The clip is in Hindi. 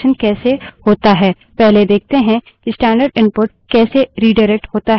अब देखते है कि 3 streams में रिडाइरेक्शन कैसे होता है